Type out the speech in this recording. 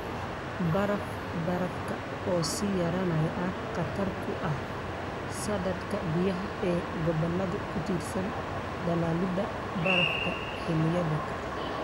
Baraf-barafka oo sii yaraanaya ayaa khatar ku ah saadka biyaha ee gobollada ku tiirsan dhalaalidda baraf xilliyeedka.